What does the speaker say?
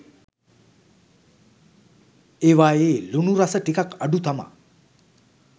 ඒවායේ ලුණු රස ටිකක් අඩු තමා